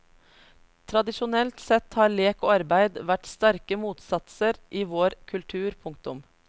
Tradisjonelt sett har lek og arbeid vært sterke motsatser i vår kultur. punktum